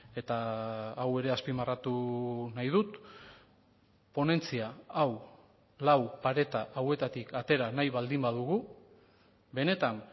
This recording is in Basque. eta hau ere azpimarratu nahi dut ponentzia hau lau pareta hauetatik atera nahi baldin badugu benetan